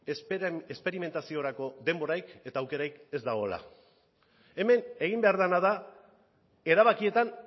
esperimentaziorako denborarik eta aukerarik ez dagoela hemen egin behar dena da erabakietan